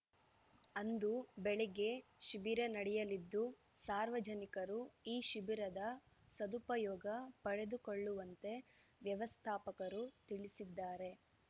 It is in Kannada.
ಅಂದು ಬೆಳಿಗ್ಗೆ ಶಿಬಿರ ನಡೆಯಲಿದ್ದು ಸಾರ್ವಜನಿಕರು ಈ ಶಿಬಿರದ ಸದುಪಯೋಗ ಪಡೆದುಕೊಳ್ಳುವಂತೆ ವ್ಯವಸ್ಥಾಪಕರು ತಿಳಿಸಿದ್ದಾರೆ